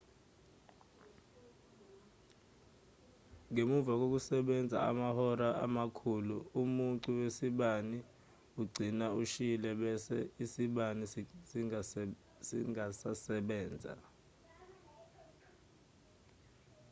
ngemuva kokusebenza amahora amakhulu umucu wasibani ugcina ushile bese isibani singasasebenzi